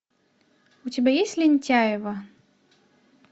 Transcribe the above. у тебя есть лентяево